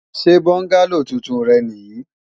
Ṣe bọ́ngálò tuntun rẹ nì yí?